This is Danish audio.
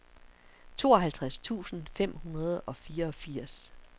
tooghalvtreds tusind fem hundrede og fireogfirs